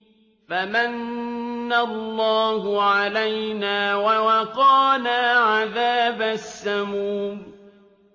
فَمَنَّ اللَّهُ عَلَيْنَا وَوَقَانَا عَذَابَ السَّمُومِ